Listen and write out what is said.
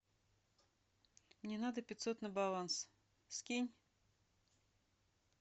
мне надо пятьсот на баланс скинь